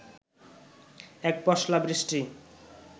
এক পশলা বৃষ্টি